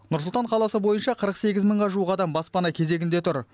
нұр сұлтан қаласы бойынша қырық сегіз мыңға жуық адам баспана кезегінде тұр